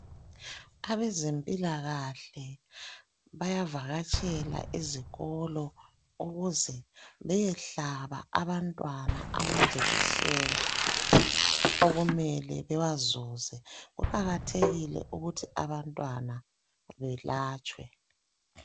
Abezempilakahle, bayavakatshela ezikolo ukuze bayehlaba abantwana, amanjekisheni okumele bawazuze. Kuqakathekile ukuthi abantwana belatshwe.